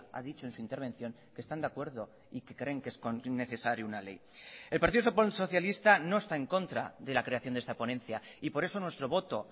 a dicho en su intervención que están de acuerdo y que creen que es necesario una ley el partido socialista no está en contra de la creación de esta ponencia y por eso nuestro voto